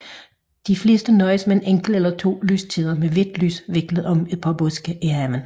De fleste nøjes med en enkelt eller to lyskæder med hvidt lys viklet om et par buske i forhaven